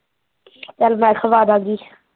ਚੱਲ ਮੈਨ ਖਵਾਦਾਂਗੀ